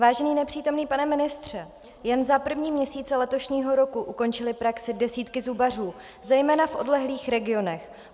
Vážený nepřítomný pane ministře, jen za první měsíce letošního roku ukončily praxi desítky zubařů zejména v odlehlých regionech.